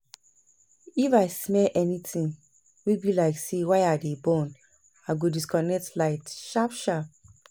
if I smell anytin wey bi like say wire dey burn, I go disconnect light sharp sharp